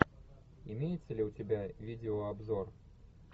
имеется ли у тебя видеообзор